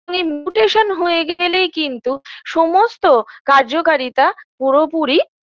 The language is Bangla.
এই mutation হয়ে গেলেই কিন্তু সমস্ত কার্যকারিতা পুরোপুরি